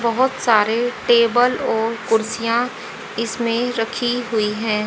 बहोत सारे टेबल और कुर्सियां इसमें रखी हुई है।